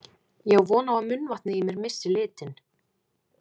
Ég á von á að munnvatnið í mér missi litinn.